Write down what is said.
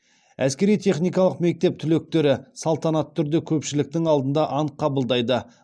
әскери техникалық мектеп түлектері салтанатты түрде көпшіліктің алдында ант қабылдайды